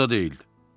O da deyildi.